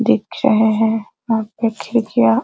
दिख रहे हैं वहाँ पर खिड़कियाँ --